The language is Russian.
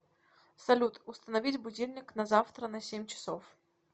салют установить будильник на завтра на семь часов